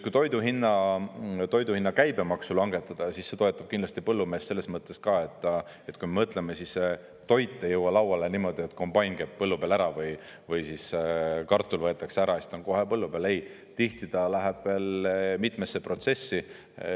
Kui toidu hinna käibemaksu langetada, siis see toetab kindlasti põllumeest selles mõttes ka, et kui me mõtleme, siis toit ei jõua lauale niimoodi, et kombain käib põllu peal ära või kartul võetakse ära kohe põllu peal, siis ei, tihti ta läheb veel mitmesse protsessi.